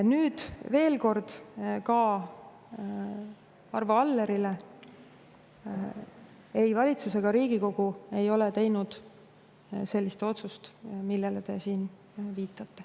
Aga veel kord ka Arvo Allerile: ei valitsus ega Riigikogu ei ole teinud sellist otsust, millele te siin viitate.